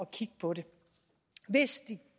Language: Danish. kigge på det hvis de